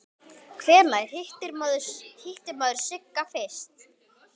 Hvenær hitti maður Sigga fyrst?